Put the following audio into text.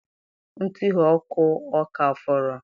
Ntughe ọkụ ọ ka fọrọ?